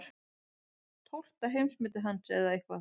Tólfta heimsmetið hans eða eitthvað.